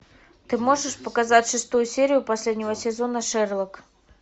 ты можешь показать шестую серию последнего сезона шерлок